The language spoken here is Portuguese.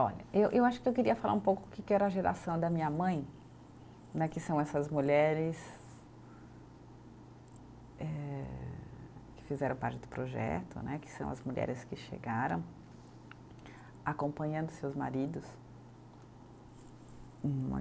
Olha, eu eu acho que eu queria falar um pouco o que que era a geração da minha mãe né, que são essas mulheres eh, que fizeram parte do projeto né, que são as mulheres que chegaram acompanhando seus maridos.